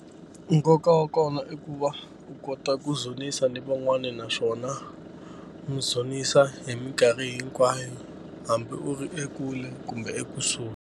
Nkoka wa kona i ku va u kota ku dzunisa ni van'wani naswona mi dzunisa hi mikarhi hinkwayo hambi u ri ekule kumbe ekusuhi.